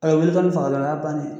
A be wuli faga dɔn o ya bannen ye.